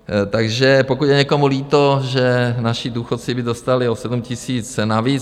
Takže pokud je někomu líto, že naši důchodci by dostali o 7 000 navíc...